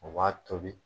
O b'a tobi